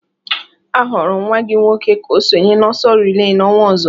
A họọrọ nwa gị nwoke ka ọ sonye n'ọsọ relay n'ọnwa ọzọ